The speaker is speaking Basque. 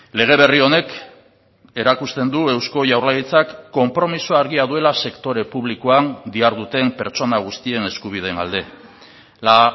lege berri honek erakusten du eusko jaurlaritzak konpromiso argia duela sektore publikoan diharduten pertsona guztien eskubideen alde la